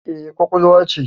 Eh, kwakwal ce